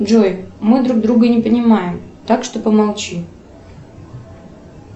джой мы друг друга не понимаем так что помолчи